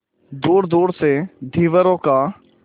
दूरदूर से धीवरों का